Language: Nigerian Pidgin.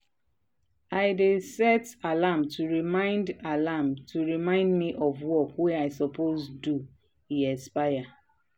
i dey set alarm to remind alarm to remind me of work wey i suppose do e expire.